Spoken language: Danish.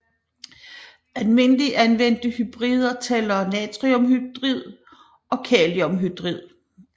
Almindeligt anvendte hydrider tæller natriumhydrid og kaliumhydrid